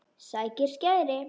Sækir skæri.